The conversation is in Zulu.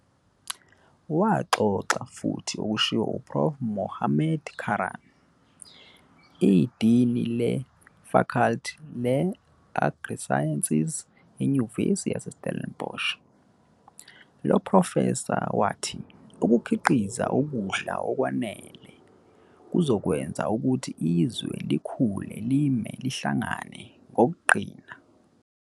Waxoxa futhi okushiwe Uprof Mohammad Karaan, idini leFaculty leAgriSciences enyuvesithi yaseStellenbosch. Lophrofesa wathi ukukhiqiza ukudla okwanele kuzokwenza ukuthi izwe likhule lime lihlangene ngokuqina.